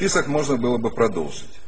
список можно было бы продолжить